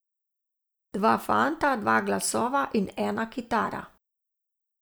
Dva fanta, dva glasova in ena kitara.